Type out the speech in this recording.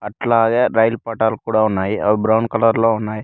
అట్లాగే రైలు పట్టాలు కూడా ఉన్నాయి అవి బ్రౌన్ కలర్ లో ఉన్నాయ్.